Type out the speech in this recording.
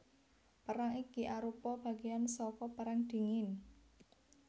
Perang iki arupa bagéan saka Perang Dingin